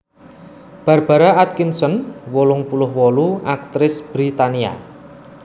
Barbara Atkinson wolung puluh wolu aktris Britania